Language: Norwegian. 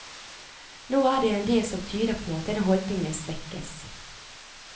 Nå er det en del som tyder på at denne holdningen svekkes.